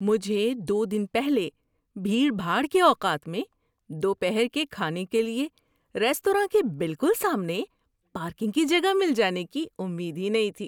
مجھے دو دن پہلے بھیڑ بھاڑ کے اوقات میں دوپہر کے کھانے کے لیے ریستوراں کے بالکل سامنے پارکنگ کی جگہ مل جانے کی امید ہی نہیں تھی۔